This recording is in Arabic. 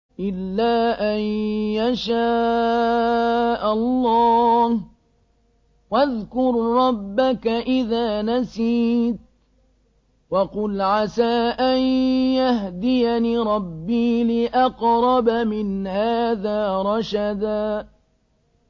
إِلَّا أَن يَشَاءَ اللَّهُ ۚ وَاذْكُر رَّبَّكَ إِذَا نَسِيتَ وَقُلْ عَسَىٰ أَن يَهْدِيَنِ رَبِّي لِأَقْرَبَ مِنْ هَٰذَا رَشَدًا